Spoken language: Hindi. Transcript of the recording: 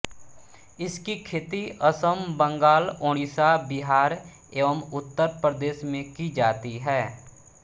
इसकी खेती असम बंगाल ओड़िशा बिहार एवं उत्तर प्रदेश में की जाती है